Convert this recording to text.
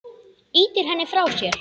Ýtir henni frá sér.